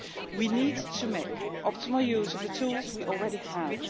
We need to make optimal use of the tools we already have.